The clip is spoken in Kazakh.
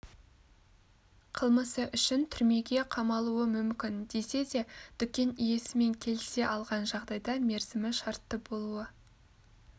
қылмысы үшін түрмеге қамалуы мүмкін десе де дүкен иесімен келісе алған жағдайда мерзімі шартты болуы